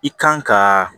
I kan ka